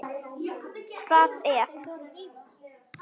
Hvað ef.?